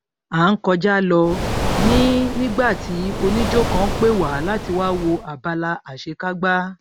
a ń kọjá lọ ní nígbà tí onijó kan pè wá láti wá wo abala àṣekágbá